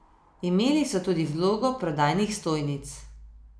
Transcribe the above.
Imeli so tudi vlogo prodajnih stojnic.